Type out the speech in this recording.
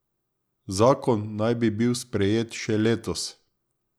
Zakon naj bi bil sprejet še letos.